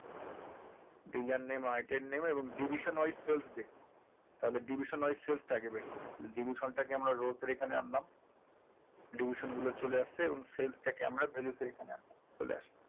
dealer name item name এবং division wise sales দেখবো তাহলে division wise sales তা আগে বের করি division টাকে আমরা row টের এখানে আনলাম division গুলো চলে এসেছে এবং sales টাকে আমরা value এর এখানে আনবো চলে এসেছে